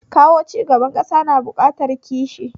Kawo cigaban ƙasa na buƙatar kishi